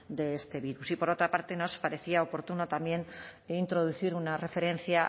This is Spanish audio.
de este virus y por otra parte nos parecía oportuno también introducir una referencia